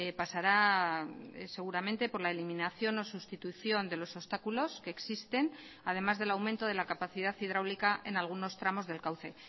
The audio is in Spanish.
pasará seguramente por la eliminación o sustitución de los obstáculos que existen además del aumento de la capacidad hidráulica en algunos tramos del cauce